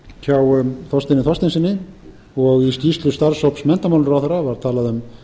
hjá þorsteini þorsteinssyni og í skýrslu starfshóps menntamálaráðherra var talað um